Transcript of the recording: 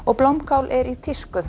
blómkál er í tísku